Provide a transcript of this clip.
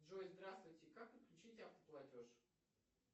джой здравствуйте как отключить автоплатеж